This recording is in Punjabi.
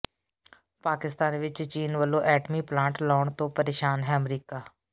ਪਾਕਿਸਤਾਨ ਵਿਚ ਚੀਨ ਵੱਲੋਂ ਐਟਮੀ ਪਲਾਂਟ ਲਾਉਣ ਤੋਂ ਪ੍ਰੇਸ਼ਾਨ ਹੈ ਅਮਰੀਕਾ